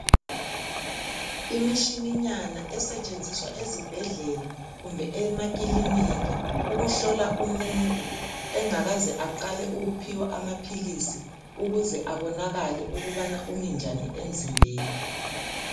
Imitshinanyana esentshenziswa ezibhedlela kumbe emakilinki ukuhlola umuntu engakaze aqale ukuphiwa umuthi kumbe amaphilisi, ukuze abonakala ukuthi Umi njani emzimbeni.